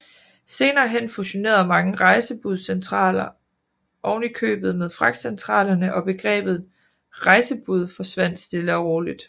Senere hen fusionerede mange rejsebudscentraler ovenikøbet med fragtcentralerne og begrebet rejsebud forsvandt stille og roligt